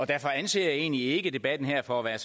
derfor anser jeg egentlig ikke debatten her for at